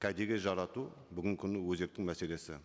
кәдеге жарату бүгінгі күні өзекті мәселесі